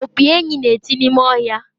opi enyí na-eti n’ime ọhịa